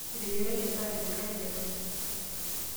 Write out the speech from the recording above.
Eteyiaraki endaa tenkare enaiposha.